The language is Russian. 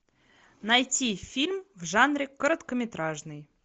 найти фильм в жанре короткометражный